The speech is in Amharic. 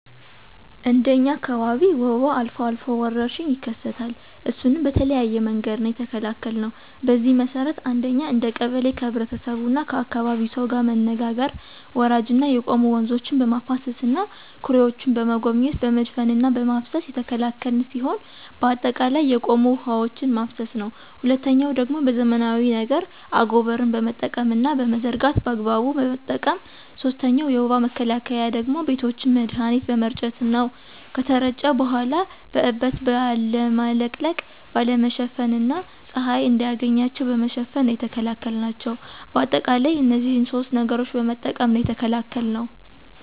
እንደ እኛ አካባቢ ወባ አልፎ አልፎ ወረርሽኝ ይከሰታል እሱንም በተለያየ መንገድ ነው የተከላከልነው። በዚህ መሰረት አንደኛ እንደ ቀበሌ ከህብረተሰቡና ከአካባቢው ሰው ጋር መነጋገር ወራጅና የቆሙ ወንዞችን በማፋሰስና ኩሬዎችን በመጎብኘት በመድፈንና በማፋሰስ የተከላከልን ሲሆን በአጠቃላይ የቆሙ ውሐዎችን ማፋሰስ ነው። ሁለተኛው ደግሞ በዘመናዊ ነገር አጎበርን በመጠቀምና በመዘርጋት በአግባቡ በመጠቀም። ሶስተኛው የወባ መከላከያ ደግሞ ቤቶችን መድሀኒት በመርጨት ነው ከተረጩ በኋላ በእበት ባለመለቅለቅ፣ ባለመሸፈን እና ፀሀይ እንዳያገኛቸው በመሸፈን ነው የተከላከልናቸው። በአጠቃላይ እነዚህን ሶስት ነገሮችን በመጠቀም ነው የተከላከልነው።